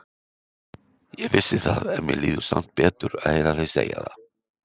Ég vissi það, en mér líður samt betur að heyra þig segja það.